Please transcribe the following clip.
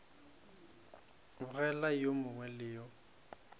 begela yo mongwe le yo